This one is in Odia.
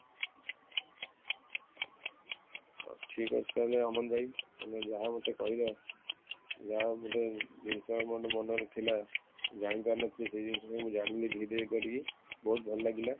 ହଉ, ଠିକ ଅଛି ତାହାଲେ ଅମନ ଭାଇ ତମେ ଯାହା ମତେ କହିଲ ଯାହା ମାନେ ଜିନିଷ ମନେ ରେ ଥିଲା ଜାଣିପାରିନଥିଲି ସେଇ ଜିନିଷ ଟାକୁ ଜାଣିପାରିଲି ଧୀରେ କରି କି ବହୁତ ଭଲ ଲାଗିଲା